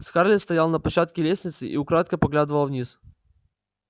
скарлетт стояла на площадке лестницы и украдкой поглядывала вниз